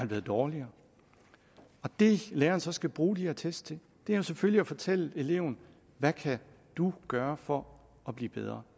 blevet dårligere det læreren så skal bruge de her test til at jo selvfølgelig at fortælle eleven hvad kan du gøre for at blive bedre